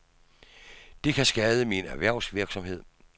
Det kan skade min erhvervsvirksomhed.